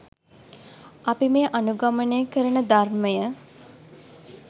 අපි මේ අනුගමනය කරන ධර්මය